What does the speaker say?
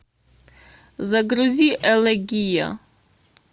загрузи элегия